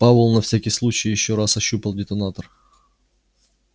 пауэлл на всякий случай ещё раз ощупал детонатор